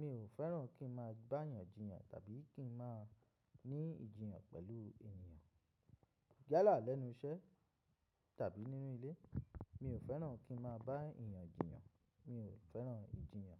Mi ò fẹ́ràn kí n máa bá èèyàn jiyàn tàbí kí n máa ní ìjiyàn pẹ̀lú ènìyàn. Yalà lẹ́nu iṣẹ́ tàbí nínú ilé, mi ò fẹ́ràn kí n máa báayàn jiyàn, mi ò fẹ́ràn ìjiyàn.